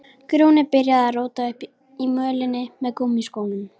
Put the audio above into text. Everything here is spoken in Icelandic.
Grjóni byrjaði að róta upp mölinni með gúmmískónum.